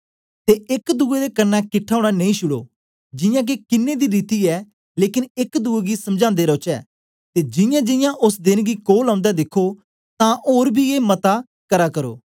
ते एक दुए दे कन्ने किटठा ओना नेई छुड़ो जियां के किन्नें दी रीति ऐ लेकन एक दुए गी समझांदे रौचै ते जियांजियां ओस देन गी कोल औंदे दिखो तांतां ओर बी मता ए करा करो